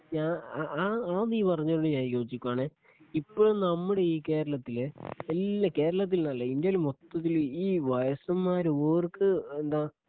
ഞാൻ ആ ആ നീ പറഞ്ഞതിനോട് ഞാൻ യോജിക്കുവാണ് ഇപ്പോഴും നമ്മുടെ ഈ കേരളത്തില് എല്ലാ കേരളത്തിൽന്നല്ല ഇന്ത്യയിൽ മൊത്തത്തില് ഈ വയസ്സന്മാര് ഓർക്ക് എന്താ